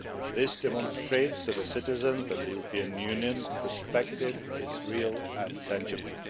This demonstrates to the citizens that the European Union perspective is real and tangible.